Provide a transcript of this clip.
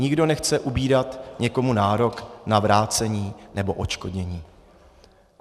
Nikdo nechce ubírat někomu nárok na vrácení nebo odškodnění.